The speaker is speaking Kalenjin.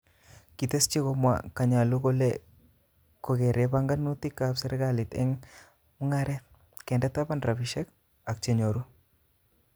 Kiteschi komwa Kanyalu kole kogere panganutil serkalit eng mungaret, kende tapan rabisirk ak chenyoru.